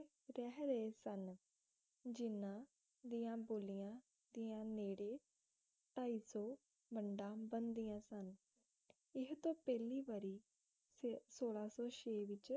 ਰਹਿ ਰਹੇ ਸਨ ਜਿਹਨਾਂ ਦੀਆਂ ਬੋਲੀਆਂ ਦੀਆਂ ਨੇੜੇ ਢਾਈ ਸੌ ਵੰਡਾਂ ਬਣਦੀਆਂ ਸਨ ਇਹੋਂ ਪਹਿਲੀ ਵਾਰੀ ਸੋਲਹਾ ਸੌ ਛੇ ਵਿਚ